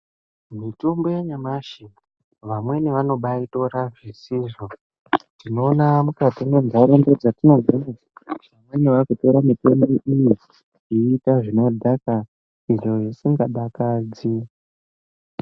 Mitombo yanyamashi vamweni vanobaaitora zvisizvo, ndinoona mukati munharaunda dzetinogara vamweni vakutora mitombo iyi kuiita zvinodhaka izvo zvisingadakadzi.